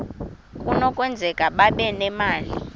kunokwenzeka babe nemali